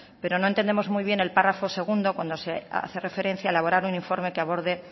pero no entendemos muy bien el párrafo segundo cuando hace referencia a elaborar un informe que aborde